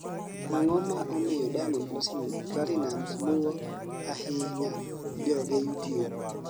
ang'o ma omiyo Diamond Platnumz luwo ahinyo joge Youtube?